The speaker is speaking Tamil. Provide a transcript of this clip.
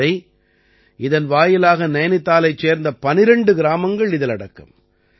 இதுவரை இதன் வாயிலாக நைநிதாலைச் சேர்ந்த 12 கிராமங்கள் இதில் அடக்கம்